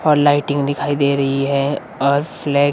और लाइटिंग दिखाई दे रही है और फ्लैग --